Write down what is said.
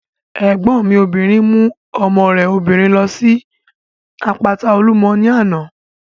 Ẹ̀gbọ́n mi obìnrin mú ọmọ rẹ̀ obìnrin ló síbi àpáta Olúmọ ní àná